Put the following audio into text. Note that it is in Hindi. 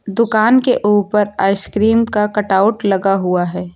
दुकान के ऊपर आइसक्रीम का कटआउट लगा हुआ है।